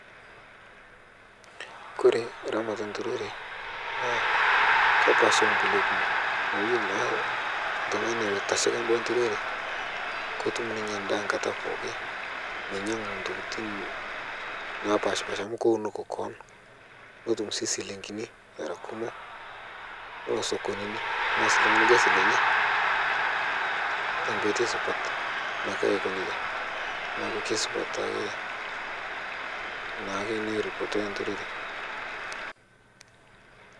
Kore ramat enturore naa kepaasha onkule kumok amu iyelo naa ltungani loitashaka nturore kotum ninye ndaa nkata pooki minyangu ntokitin napashpasha amu keunoki koon netum sii silingini era kumok nilo sokonini nias ltungani lkasi lenye tenkotei supat naake ako neja naaku keisupat taake naake eripotoi nturore